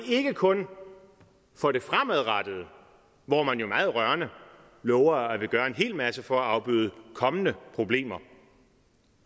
ikke kun for det fremadrettede hvor man jo meget rørende lover at ville gøre en hel masse for at afbøde kommende problemer